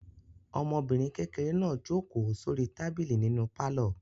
Ọmọbìnrin kékeré náà jókòó sórí tábìlì nínú pálọ̀.